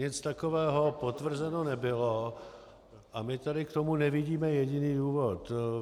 Nic takového potvrzeno nebylo a my tady k tomu nevidíme jediný důvod.